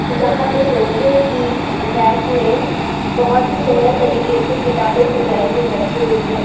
जहां पे लोहे की रैक में बहोत ही सुंदर तरीके से किताबें सजाई हुई रखी हुई हैं।